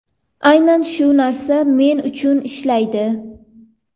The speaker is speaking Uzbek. Aynan shu narsa men uchun ishlaydi.